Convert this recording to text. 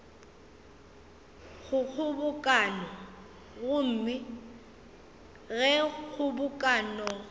go kgobokano gomme ge kgobokano